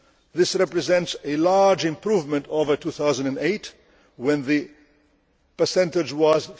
This represents a large improvement over 2008, when the percentage was